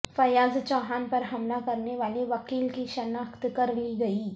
فیاض چوہان پر حملہ کرنے والے وکیل کی شناخت کر لی گئی